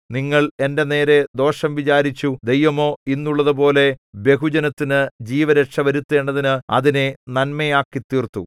നിങ്ങൾ എന്റെ നേരെ ദോഷം വിചാരിച്ചു ദൈവമോ ഇന്നുള്ളതുപോലെ ബഹുജനത്തിനു ജീവരക്ഷ വരുത്തേണ്ടതിന് അതിനെ നന്മയാക്കിതീർത്തു